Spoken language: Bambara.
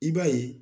I b'a ye